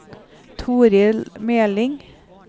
Torill Meling